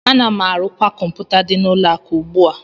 Ana m arụkwa kọmpụta dị n'ụlọ akụ ugbu a